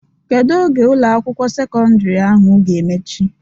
Kedu oge Ụlọ akwụkwọ sekọndrị ahụ ga-emechi?